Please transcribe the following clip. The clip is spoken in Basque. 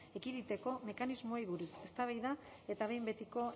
ekiditeko mekanismoei buruz eztabaida eta behin betiko